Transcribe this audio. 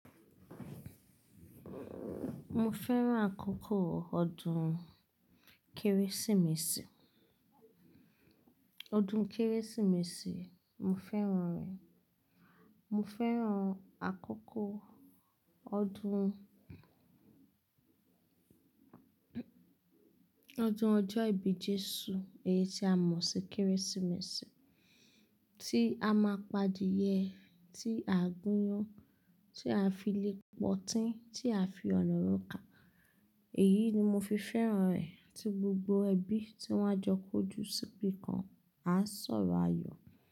Mo fẹ́ràn àkókò ọdún Kérésìmesì. Ọdún Kérésìmesì, mo fẹ́ràn rẹ̀. Mo fẹ́ràn àkókò ọdún. Ọdún ọjọ́ ìbí Jésù èyí tí a mọ̀ sí Kérésìmesì, tí a máa pa adìẹ, tí à gúnyán, tí à fi lè pọtí, tí à fi ọ̀nà róka. Èyí ni mo fi fẹ́ràn rẹ̀ tí gbogbo ẹbí tí wọ́n á jọ kó ju síbi kan à sọ̀rọ̀ ayọ̀.